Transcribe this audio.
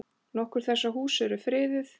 Nokkur þessara húsa eru friðuð.